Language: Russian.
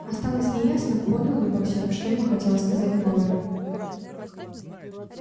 осталось неясным понял ли боксёр что ему хотела сказать кловер